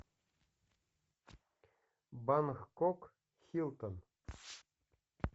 бангкок хилтон